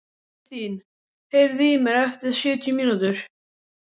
Kristin, heyrðu í mér eftir sjötíu mínútur.